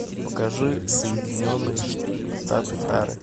покажи соединенные штаты тары